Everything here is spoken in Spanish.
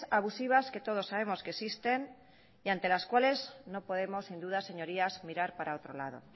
abusivas que todos sabemos que existen y ante las cuales no podemos sin duda señorías mirar para otro lado